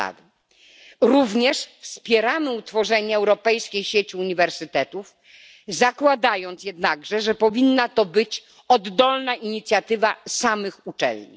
Wspieramy również utworzenie europejskiej sieci uniwersytetów, zakładając jednak, że powinna to być oddolna inicjatywa samych uczelni.